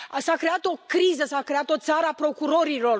S a creat o criză, s a creat o țară a procurorilor.